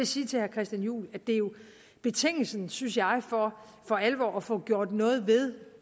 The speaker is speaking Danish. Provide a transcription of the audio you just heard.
sige til herre christian juhl at betingelsen for synes jeg for alvor at få gjort noget ved